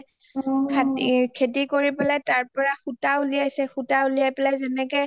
খেতি কৰি পেলাই তাৰ পৰা সূতা উলিয়াইছে সূতা উলিয়াই পেলাই যেনেকে